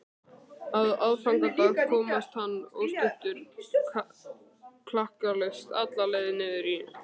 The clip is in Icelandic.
Á aðfangadag komst hann óstuddur klakklaust alla leið niður í